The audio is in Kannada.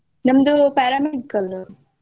ನಮ್ದು paramedical .